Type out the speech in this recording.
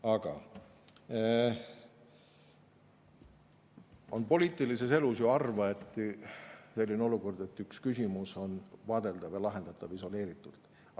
Aga poliitilises elus on harva selline olukord, et üks küsimus on vaadeldav ja lahendatav isoleeritult.